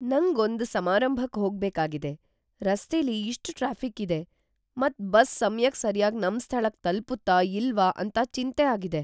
ನಂಗ್ ಒಂದ್ ಸಮಾರಂಭಕ್ ಹೋಗ್ಬೇಕಾಗಿದೆ. ರಸ್ತೆಲಿ ಇಷ್ಟ್ ಟ್ರಾಫಿಕ್ ಇದೆ ಮತ್ ಬಸ್ ಸಮ್ಯಕ್ ಸರ್ಯಾಗಿ ನಮ್ ಸ್ಥಳಕ್ಕೆ ತಲ್ಪುತ್ತ ಇಲ್ವಾ ಅಂತ ಚಿಂತೆ ಆಗಿದೆ.